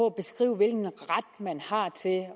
at beskrive hvilken ret man har til at